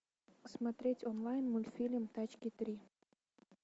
смотреть онлайн мультфильм тачки три